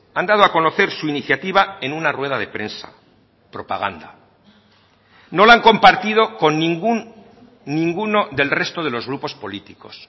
han dado a conocer su iniciativa en una rueda de prensa propaganda no la han compartido con ningún ninguno del resto de los grupos políticos